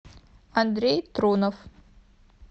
андрей трунов